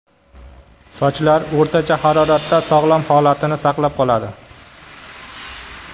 Sochlar o‘rtacha haroratda sog‘lom holatini saqlab qoladi.